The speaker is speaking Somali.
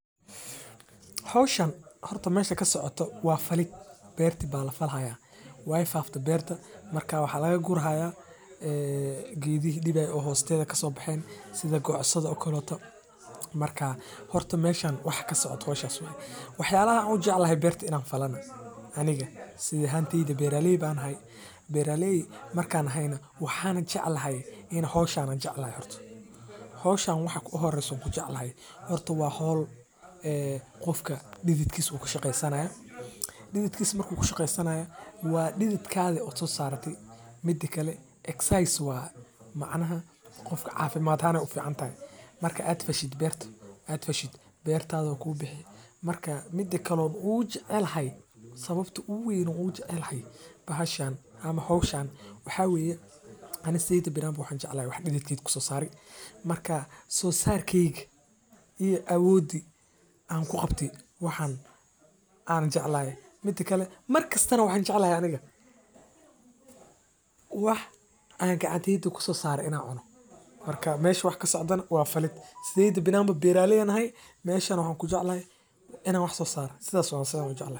Ee hawshan horto meesha ka socota waa falit beertu baal la falahay. Waay faafta beerta markaa waxaa laga guraahay, ee, geedi dhibaatay oo hoosteeda ka soo baxeen sida goocsado oo koolka. Markaa horto meeshan wax ka socoto hawshas wayee. Waxyana u jeclahay beerta in aan falno aniga? Sidii hantiidii beerareely baan ahay, beerareely markaan ahayna waxaan jeclahay in hawshana jeclaa horto. hawshan wax ku ah oo horayso ku jeclahay. Horto waa hawl, ee, qofka didiidkis u ka shaqeynsanaya. Dididkis markuu ka shaqeysanaya waa didid kaada oso saarati. Muddo kale exercise waa macnaha qofka caafimaad ha ahan u ficantahay. Marka aad fashid beerto, aad fashid beertaa doon kuu bixi. Markaa midde kaloon uu jeclahay sababta uu weyn u jeclahay bahashaana ama hawshan waxaa weeye anigaa sidii birama u jeclay wax didkiisu ku saari. Markaa soo saarkiig iyo awooddi aan ku qabti waxaan aan jeclahay. Muddo kale, markasta na waxaan jeclahay aniga. Wax aan gacaddiidku ku saara in aan cuuno. Markaa meesh wax ka socodana waa falid. Sideed biiramo beerareely aan hay, meeshan u jeclahay in aan wax soo saaro. Sidaas wanaagsan wuu jeclaa.